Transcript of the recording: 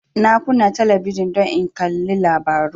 Na kunna talabijin don in kalli labaru